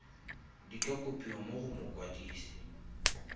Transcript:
di ka kopiwa go mokwadise